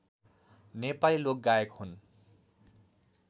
नेपाली लोकगायक हुन्